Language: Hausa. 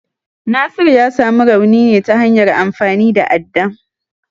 Nasiru ya samu rauni ne ta hanyar amfani da adda.